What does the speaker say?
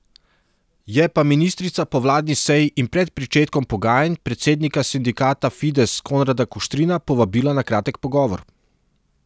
Je pa ministrica po vladni seji in pred pričetkom pogajanj predsednika sindikata Fides Konrada Kuštrina povabila na kratek pogovor.